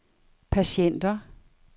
patienter